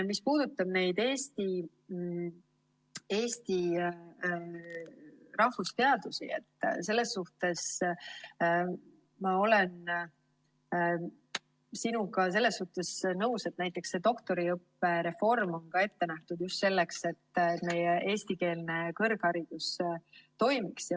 Mis puudutab Eesti rahvusteadusi, siis olen sinuga selles suhtes nõus, et näiteks doktoriõppe reform on ette nähtud just selleks, et eestikeelne kõrgharidus toimiks.